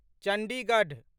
Chandigarh